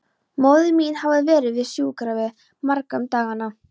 Móðir mín hafði verið við sjúkrabeð margra um dagana.